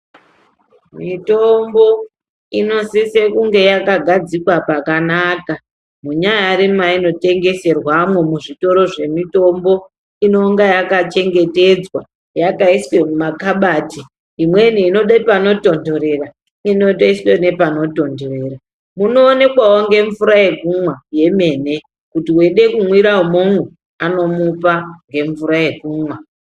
Mitombo inosise kunge yakagadzikwa pakanaka, munyari mainotengeserwamo muzvitoro zvemitombo inonga yakachengetedzwa yakaiswe mumakhabati. Imwe inode panotontorera inotoiswe nepanotontorera munoonekwawo ngemvura yekumwa yemene kuti mweide kumwire imomo vanomupa ngemvura yekumwa.